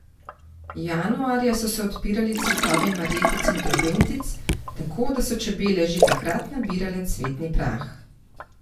Januarja so se odpirali cvetovi marjetic in trobentic, tako da so čebele že takrat nabirale cvetni prah.